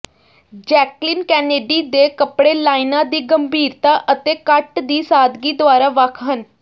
Jacqueline Kennedy ਦੇ ਕੱਪੜੇ ਲਾਈਨਾਂ ਦੀ ਗੰਭੀਰਤਾ ਅਤੇ ਕੱਟ ਦੀ ਸਾਦਗੀ ਦੁਆਰਾ ਵੱਖ ਹਨ